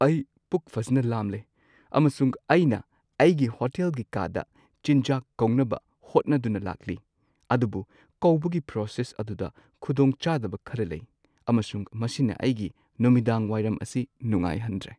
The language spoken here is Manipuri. ꯑꯩ ꯄꯨꯛ ꯐꯖꯅ ꯂꯥꯝꯂꯦ, ꯑꯃꯁꯨꯡ ꯑꯩꯅ ꯑꯩꯒꯤ ꯍꯣꯇꯦꯜꯒꯤ ꯀꯥꯗ ꯆꯤꯟꯖꯥꯛ ꯀꯧꯅꯕ ꯍꯣꯠꯅꯗꯨꯅ ꯂꯥꯛꯂꯤ, ꯑꯗꯨꯕꯨ ꯀꯧꯕꯒꯤ ꯄ꯭ꯔꯣꯁꯦꯁ ꯑꯗꯨꯗ ꯈꯨꯗꯣꯡ ꯆꯥꯗꯕ ꯈꯔ ꯂꯩ ꯑꯃꯁꯨꯡ ꯃꯁꯤꯅ ꯑꯩꯒꯤ ꯅꯨꯃꯤꯗꯥꯡ ꯋꯥꯏꯔꯝ ꯑꯁꯤ ꯅꯨꯡꯉꯥꯏꯍꯟꯗ꯭ꯔꯦ꯫